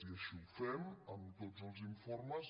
i així ho fem amb tots els informes